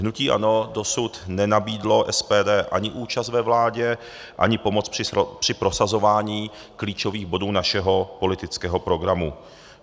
Hnutí ANO dosud nenabídlo SPD ani účast ve vládě, ani pomoc při prosazování klíčových bodů našeho politického programu.